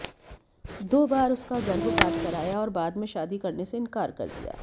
दो बार उसका गर्भपात कराया और बाद में शादी करने से इंकार कर दिया